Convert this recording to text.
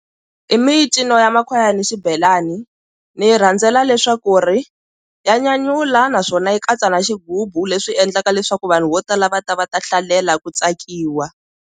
I mincino ya makhwaya ni xibelani ni yi rhandzela leswaku ri ya nyanyula naswona yi katsa na xighubu leswi endlaka leswaku vanhu vo tala va ta va ta hlalela ku tsakiwa.